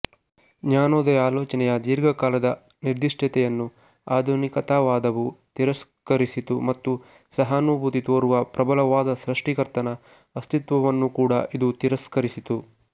ಜ್ಞಾನೋದಯ ಆಲೋಚನೆಯ ದೀರ್ಘಕಾಲದ ನಿರ್ದಿಷ್ಟತೆಯನ್ನು ಆಧುನಿಕತಾವಾದವು ತಿರಸ್ಕರಿಸಿತು ಮತ್ತು ಸಹಾನುಭೂತಿ ತೋರುವ ಪ್ರಬಲವಾದ ಸೃಷ್ಟಿಕರ್ತನ ಅಸ್ತಿತ್ವವನ್ನೂ ಕೂಡ ಇದು ತಿರಸ್ಕರಿಸಿತು